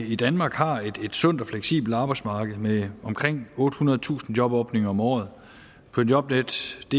i danmark har et sundt og fleksibelt arbejdsmarked med omkring ottehundredetusind jobåbninger om året på jobnetdk